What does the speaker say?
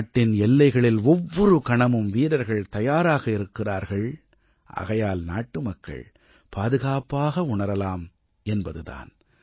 நாட்டின் எல்லைகளில் ஒவ்வொரு கணமும் வீரர்கள் தயாராக இருக்கிறார்கள் ஆகையால் நாட்டுமக்கள் பாதுகாப்பாக உணரலாம் என்பது தான்